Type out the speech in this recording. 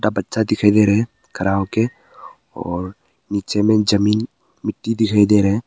बच्चा दिखाई दे रहा खड़ा होके और नीचे में जमीन मिट्टी दिखाई दे रहा है।